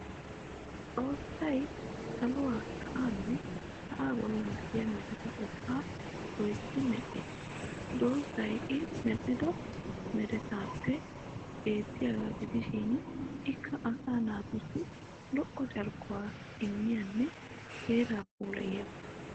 Xossay saluwa sa'aanne sa'aa bollan de'iya mereta ubba loytti medhdhis. Doozzay I medhdhido meretaappe beettiyaagaa gidishin ikka asaa naatussi lo'o carkkuwa immiyanne heeraa puulayiyaagaa.